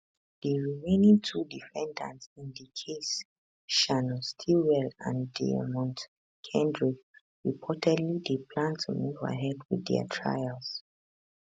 di remaining two defendants in di case shannon stillwell and deamonte kendrick reportedly dey plan to move ahead with dia trials